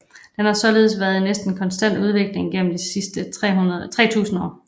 Den har således været i næsten konstant udvikling gennem de sidste 3000 år